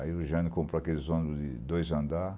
Aí o Jânio comprou aqueles ônibus de dois andar.